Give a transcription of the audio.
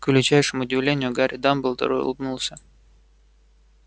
к величайшему удивлению гарри дамблдор улыбнулся